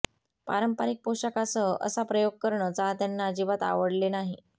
पारंपरिक पोषाखासह असा प्रयोग करणं चाहत्यांना अजिबात आवडले नाही